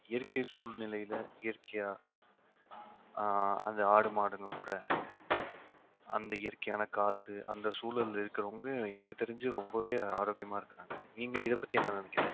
இயற்கை சூழ்நிலையில இயற்கையா ஆஹ் அந்த ஆடு மாடுங்க கூட அந்த இயற்கையான காத்து அந்த சூழல்ல இருக்கறவங்க எனக்கு தெரிஞ்சு ரொம்பவே ஆரோக்கியமா இருக்கறாங்க நீங்க இதைப்பத்தி என்ன நினைக்கறீங்க